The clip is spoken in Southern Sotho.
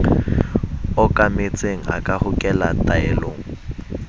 okametseng a ka hokela taelong